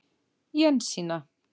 Jensína